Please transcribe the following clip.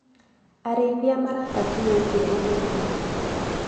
Arĩithia maraka kiugũ kĩerũ ũmũthĩ.